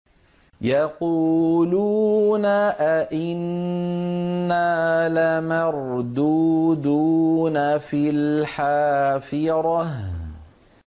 يَقُولُونَ أَإِنَّا لَمَرْدُودُونَ فِي الْحَافِرَةِ